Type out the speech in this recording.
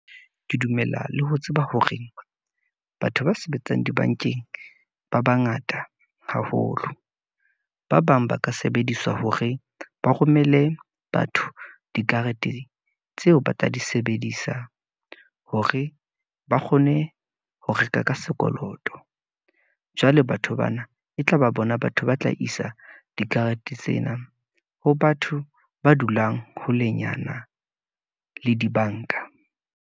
Ke dumela le ho tseba hore batho ba sebetsang dibankeng ba bangata haholo . Ba bang ba ka sebediswa hore ba romele batho dikarete tseo ba tla di sebedisa, hore ba kgone ho reka ka sekoloto. Jwale batho bana e tlaba bona, batho ba tla isa dikarete tsena, ho batho ba dulang holenyana le dibanka.